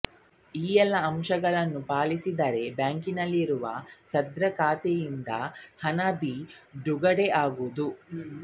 ಈ ಎಲ್ಲ ಅಂಶಗಳನ್ನು ಪಾಲಿಸಿದರೆ ಬ್ಯಾಂಕಿನಲ್ಲಿರುವ ಸದ್ರಿ ಖಾತೆಯಿಂದ ಹಣ ಬಿಡುಗಡೆಯಾಗುವುದು